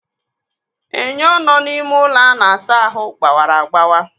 Enyo nọ n'ime ụlọ a na-asa ahụ gbawara agbawa.